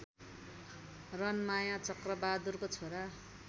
रनमाया चक्रबहादुरको छोरा